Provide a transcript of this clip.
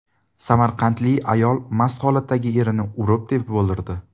Samarqandlik ayol mast holatdagi erini urib-tepib o‘ldirdi .